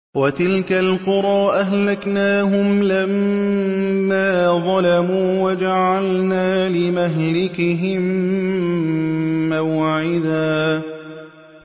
وَتِلْكَ الْقُرَىٰ أَهْلَكْنَاهُمْ لَمَّا ظَلَمُوا وَجَعَلْنَا لِمَهْلِكِهِم مَّوْعِدًا